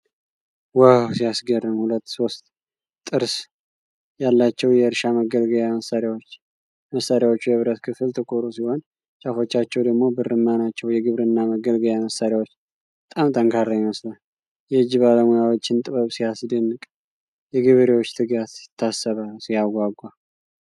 ዋው ሲያስገርም! ሁለት ሦስት ጥርስ ያላቸው የአርሻ መገልገያ መሳሪያዎች። የመሳሪያዎቹ የብረት ክፍል ጥቁር ሲሆን ጫፎቻቸው ደግሞ ብርማ ናቸው። የግብርና መገልገያ መሳሪያው በጣም ጠንካራ ይመስላል። የእጅ ባለሙያዎችን ጥበብ ሲያስደንቅ! የገበሬዎች ትጋት ይታሰባል። ሲያጓጓ!